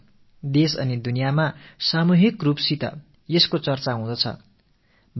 நாட்டிலும் உலகெங்கிலும் மக்கள் மத்தியில் இவை தொடர்பான விவாதங்கள் நடைபெற்று வருகின்றன